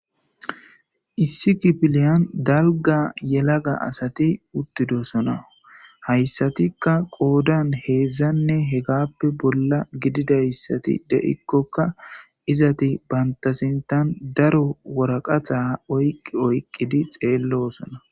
issi kipiliyan dalga yelaga asati uttidosona hayssatikka qoodan heedzdzanne hegappe bolla gididayssati de7ikkokka izati bantasintan daro woraqaxa oyqqi oyqqidi xeello osona